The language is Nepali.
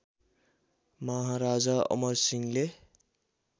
महाराजा अमर सिंहले